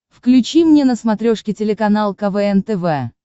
включи мне на смотрешке телеканал квн тв